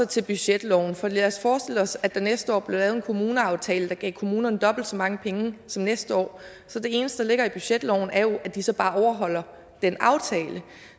til budgetloven for lad os forestille os at der næste år blev lavet en kommuneaftale der gav kommunerne dobbelt så mange penge som næste år så det eneste der ligger i budgetloven er jo at de så bare overholder den aftale